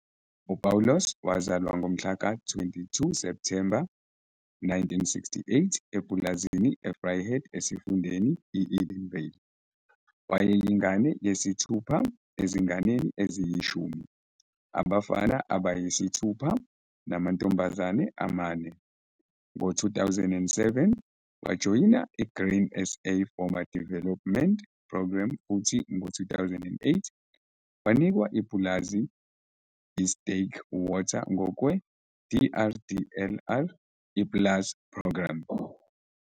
U-Paulus wazalwa ngomhla ka-22 Septhemba 1968 epulazini e-Vryheid eSifundeni i-Edenville. Wayeyingane yesithupha ezinganeni eziyishumi, abafana abayisithupha namantombazane amane. Ngo-2007, wajoyina i-Grain SA Farmer Development Programme futhi ngo-2008, wanikwa ipulazi i-Sterkwater ngokwe-DRDLR i-PLAS Programme.